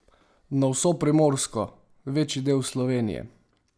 Na vso Primorsko, večji del Slovenije?